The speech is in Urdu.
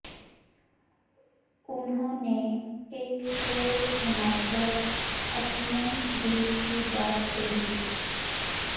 انہوں نے ایک شعر سنا کر اپنے دل کی بات کہی